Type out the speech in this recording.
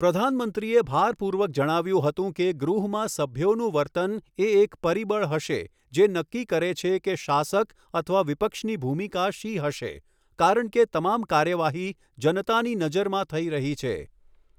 પ્રધાનમંત્રીએ ભારપૂર્વક જણાવ્યું હતું કે ગૃહમાં સભ્યોનું વર્તન એ એક પરિબળ હશે જે નક્કી કરે છે કે શાસક અથવા વિપક્ષની ભૂમિકા શી હશે કારણ કે તમામ કાર્યવાહી જનતાની નજરમાં થઈ રહી છે.